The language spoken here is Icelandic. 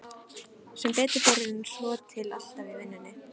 Sem betur fer er hann svotil alltaf í vinnunni.